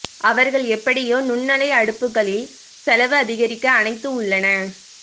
அவர்கள் எப்படியோ நுண்ணலை அடுப்புகளில் செலவு அதிகரிக்க அனைத்து உள்ளன